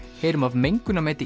heyrum af